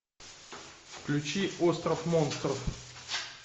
включи остров монстров